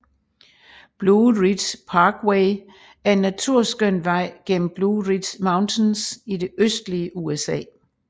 Blue Ridge Parkway er en naturskøn vej gennem Blue Ridge Mountains i det østlige USA